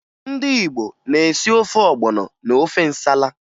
Ndị Igbo na-esi ofe ọgbọnọ na ofe nsala